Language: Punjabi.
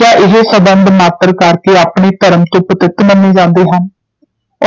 ਕਿਆ ਇਹ ਸੰਬੰਧ ਮਾਤ੍ਰ ਕਰਕੇ ਆਪਣੇ ਧਰਮ ਤੋਂ ਪਤਿਤ ਮੰਨੇ ਜਾਂਦੇ ਹਨ,